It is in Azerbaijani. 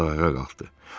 Ovod ayağa qalxdı.